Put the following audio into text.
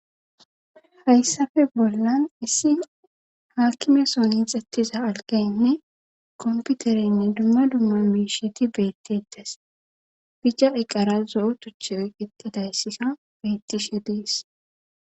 Hayssape bollan issi haakimeson hiixethiza algaynne komppiterenne dumma dumma miishati beetteetes;bica iqara zo7o tuchchay eqqidayssika beettishe de7ees.